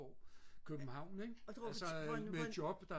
og København ik med job der